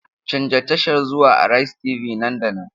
Canza tashar zuwa Araiz TV nan da nan!